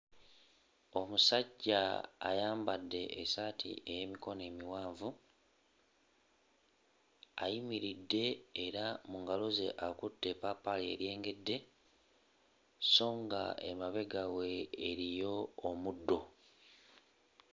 Omusajja ayambadde essaati ey'emikono emiwanvu, ayimiridde era mu ngalo ze akutte eppaapaali eryengedde so ng'emabega we eriyo omuddo.